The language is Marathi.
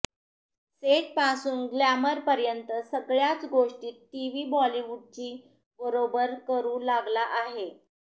सेटपासून ग्लॅमरपर्यंत सगळ्याच गोष्टींत टीव्ही बॉलिवूडची बरोबर करू लागला आहे